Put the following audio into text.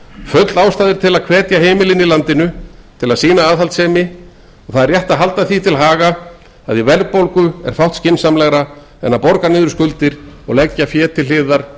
full ástæða er til að hvetja heimilin í landinu til að sýna aðhaldssemi og það rétt er að halda því til haga að í verðbólgu er fátt skynsamlegra en að borga niður skuldir og leggja fé til hliðar